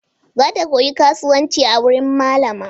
Za ta koyi kasuwanci a wuri malama.